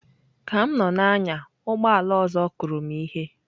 Ka m nọ na-anya ụgbọ ala ọzọ kụrụ m ihe.